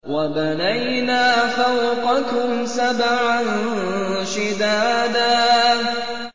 وَبَنَيْنَا فَوْقَكُمْ سَبْعًا شِدَادًا